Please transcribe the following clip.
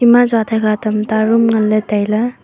ema jathaiga tamta room nganley tailey.